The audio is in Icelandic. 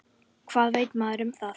Hvað veit maður um það?